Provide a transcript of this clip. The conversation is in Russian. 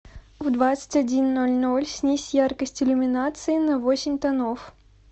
в двадцать один ноль ноль снизь яркость иллюминации на восемь тонов